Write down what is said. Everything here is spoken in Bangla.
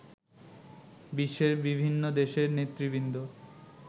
বিশ্বের বিভিন্ন দেশের নেতৃবৃন্দ